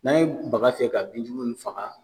N'a ye baka fiyɛ ka bin jugu nunnu faga